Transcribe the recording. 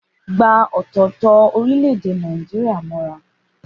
Gba ọ̀tọ̀ọ̀tọ̀ orílẹ̀-èdè Nàìjíríà mọ́ra.